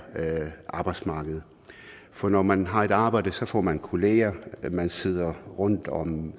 arbejdsmarkedet for når man har et arbejde får man kolleger man sidder rundt om